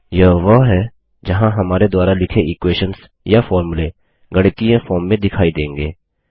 यह वह है जहाँ हमारे द्वारा लिखे इक्वेशन्स या फोर्मुले गणितीय फॉर्म में दिखाई देंगे